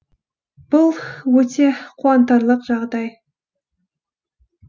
бұл өте қуантарлық жағдай